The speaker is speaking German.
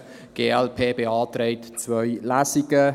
Die glp beantragt zwei Lesungen.